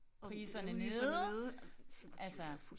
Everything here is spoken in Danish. Priserne nede altså